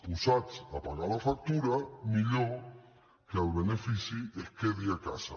posats a pagar la factura millor que el benefici es quedi a casa